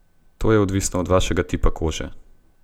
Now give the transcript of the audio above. To je odvisno od vašega tipa kože.